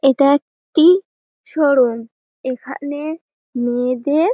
এটা একটি শোরুম এখানে মেয়েদের--